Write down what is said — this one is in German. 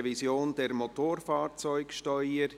«Revision der Motorfahrzeugsteuer».